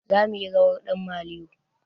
Zamuyi rawar ɗan maliyo